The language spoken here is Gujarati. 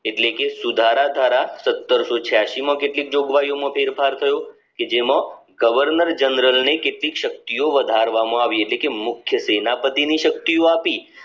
એટલે કે સુધારા ધારા સાતસો છયાસી માં કેટલી જોગવાઈઓ માં ફેરફાર થયો કે જેમાં governor general ની કેટલીક કેટલીક શક્તિઓ વધારવામાં આવી એટલે કે મુખ્ય સેનાપતિની શકતી આપી